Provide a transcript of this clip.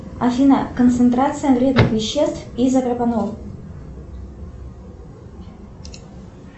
афина концентрация вредных веществ изопропанол